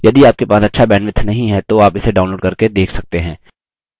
यदि आपके पास अच्छा bandwidth नहीं है तो आप इसे download करके देख सकते हैं